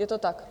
Je to tak?